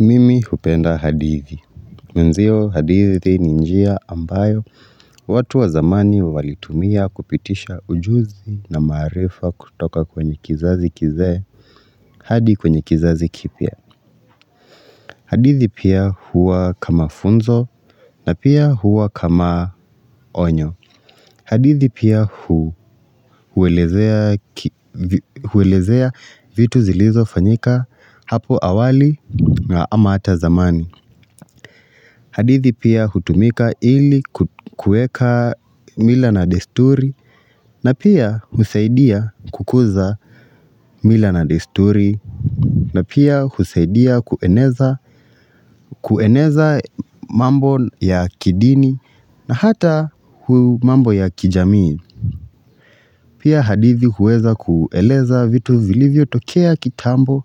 Mimi hupenda hadithi. Mwenzio hadithi ni njia ambayo watu wa zamani walitumia kupitisha ujuzi na maarifa kutoka kwenye kizazi kizee hadi kwenye kizazi kipya. Hadithi pia huwa kama funzo na pia huwa kama onyo. Hadithi pia huelezea vitu zilizofanyika hapo awali ama hata zamani. Hadithi pia hutumika ili kuweka mila na desturi na pia husaidia kukuza mila na desturi na pia husaidia kueneza mambo ya kidini na hata mambo ya kijamii. Pia hadithi huweza kueleza vitu vilivyotokea kitambo